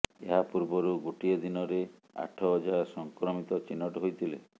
ଏହା ପୂର୍ବରୁ ଗୋଟିଏ ଦିନରେ ଆଠ ହଜାର ସଂକ୍ରମିତ ଚିହ୍ନଟ ହୋଇଥିଲେ